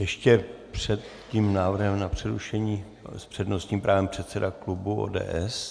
Ještě před tím návrhem na přerušení s přednostním právem předseda klubu ODS.